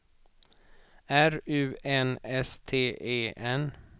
R U N S T E N